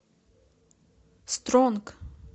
стронг